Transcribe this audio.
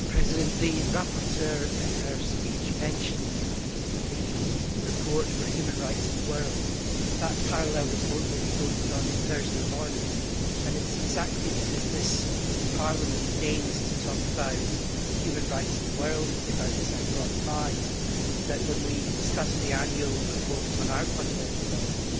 Mr President, in her speech the rapporteur mentioned the report for human rights in the world. The vote on that parallel report will take place on Thursday morning, and it is exactly because this Parliament deigns to talk about human rights in the world and give out the Sakharov Prize that, when we discuss the annual report on our fundamental rights,